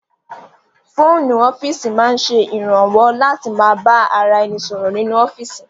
Fóònù ọ́fíìsì máa ń ṣe ìrànwọ́ láti ma bá ra ẹni sọ̀rọ̀ nínú ọ́fíìsì